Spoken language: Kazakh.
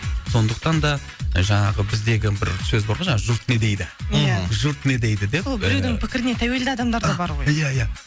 сондықтан да жаңағы біздегі бір сөз бар ғой жаңағы жұрт не дейді ия жұрт не дейді деп сол біреудің пікіріне тәуелді адамдар да бар ғой ия ия